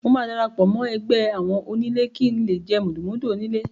Mo máa darapọ̀ mọ́ ẹgbẹ́ àwọn onílé kí ń lè jé mùdùnmúdùn oníle.